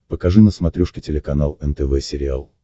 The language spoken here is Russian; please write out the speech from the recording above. покажи на смотрешке телеканал нтв сериал